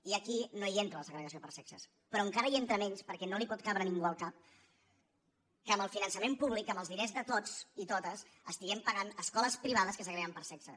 i aquí no hi entra la segregació per sexes però encara hi entra menys perquè no li pot cabre a ningú al cap que amb el finançament públic amb els diners de tots i totes estiguem pagant escoles privades que segreguen per sexe